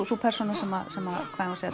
sú persóna sem sem